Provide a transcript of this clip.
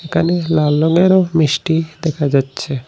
একানে লাল রঙেরও মিষ্টি দেখা যাচ্ছে।